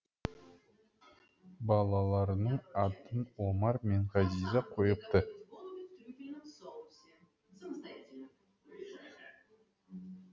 балаларының атын омар мен ғазиза қойыпты